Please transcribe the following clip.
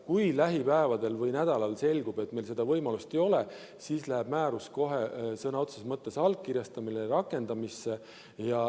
Kui lähipäevadel või ‑nädalal selgub, et meil seda võimalust ei ole, siis läheb määrus kohe sõna otseses mõttes allkirjastamisele ja rakendamisele.